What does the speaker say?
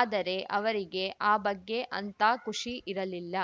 ಆದರೆ ಅವರಿಗೆ ಆ ಬಗ್ಗೆ ಅಂಥಾ ಖುಷಿ ಇರಲಿಲ್ಲ